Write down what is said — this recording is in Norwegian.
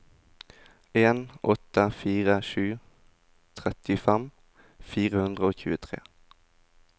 en åtte fire sju trettifem fire hundre og tjuetre